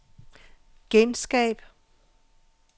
genskab